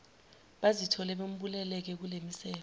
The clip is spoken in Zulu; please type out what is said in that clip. bazithole bembuleleke kulemisebe